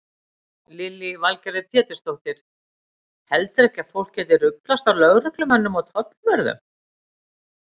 Lillý Valgerður Pétursdóttir: Heldurðu ekkert að fólk geti ruglast á lögreglumönnum og tollvörðum?